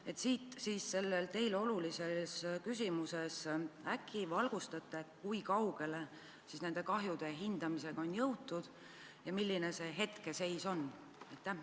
" Kas te võiksite selles teile olulises küsimuses äkki valgustada, kui kaugele nende kahjude hindamisega on jõutud ja milline on hetkeseis?